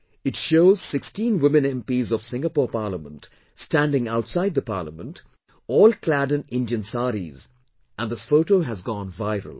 It shows 16 women MPs of Singapore Parliament standing outside the Parliament all clad in Indian Sarees and this photo has gone viral